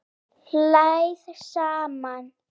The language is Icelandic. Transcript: Hlæið saman